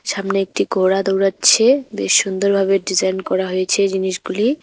সামনে একটি ঘোড়া দৌড়াচ্ছে বেশ সুন্দরভাবে ডিজাইন করা হয়েছে জিনিসগুলি।